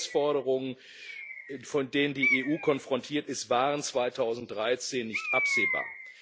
Die Herausforderungen, mit denen die EU konfrontiert ist, waren 2013 nicht absehbar.